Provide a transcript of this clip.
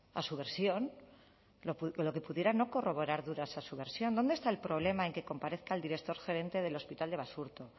a su versión lo que pudiera no corroborar dudas a su versión dónde está el problema en que comparezca el director gerente del hospital de basurto